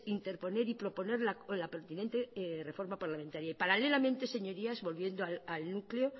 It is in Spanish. interponer y proponer la pertinente reforma parlamentaria y paralelamente señorías volviendo al núcleo